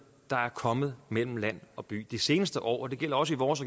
der er kommet mellem land og by de seneste år og det gælder også i vores